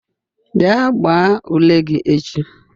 bia gbaa ule gi echi